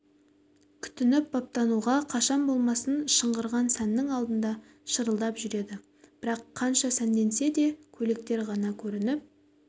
күтініп-баптануға қашан болмасын шыңғырған сәннің алдында шырылдап жүреді бірақ қанша сәнденсе де көйлектер ғана көрініп